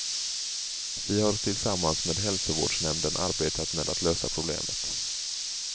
Vi har tillsammans med hälsovårdsnämnden arbetat med att lösa problemet.